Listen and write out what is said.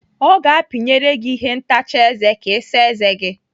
Ọ ga-apinyere gị ihe ntacha eze ka Ị saa eze gi.